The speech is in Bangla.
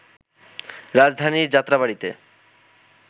রাজধানীর যাত্রাবাড়ীতে